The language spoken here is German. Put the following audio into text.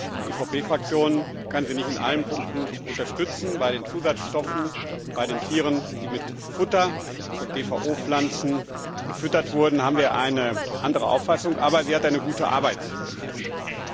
Die EVP Fraktion kann sie nicht in allen Punkten unterstützen. Bei den Zusatzstoffen, bei den Tieren, die mit Futter von GVO Pflanzen gefüttert werden, haben wir eine andere Auffassung, aber sie hat eine Arbeit geleistet.